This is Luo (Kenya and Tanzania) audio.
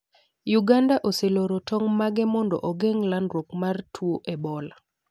Uganda oseloro tong' mage mondo ogeng' landruok mar tuo Ebola.